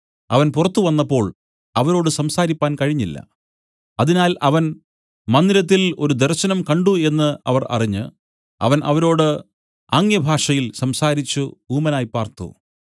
അവൻ പുറത്തു വന്നപ്പോൾ അവരോട് സംസാരിപ്പാൻ കഴിഞ്ഞില്ല അതിനാൽ അവൻ മന്ദിരത്തിൽ ഒരു ദർശനം കണ്ട് എന്നു അവർ അറിഞ്ഞ് അവൻ അവരോട് ആം‌ഗ്യഭാഷയിൽ സംസാരിച്ചു ഊമനായി പാർത്തു